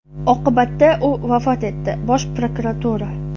Oqibatda u vafot etdi – Bosh prokuratura.